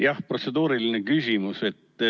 Jah, protseduuriline küsimus.